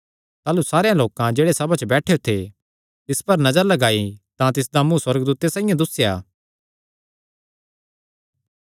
ताह़लू सारेयां लोकां जेह्ड़े सभा च बैठेयो थे तिस पर नजर लगाई तां तिसदा मुँ सुअर्गदूते साइआं दुस्सेया